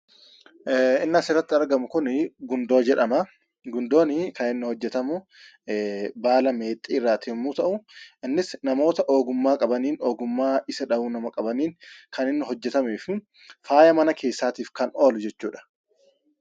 Inni asirratti argamu kun Gundoo jedhamaa. Gundoon kan hojjatamu baala meexxiirraa yeroo ta'u, innis namoota ogummaa qabaniin kan inni hojjatamuu fi faaya mana keessaatiif kan oolu jechuudha.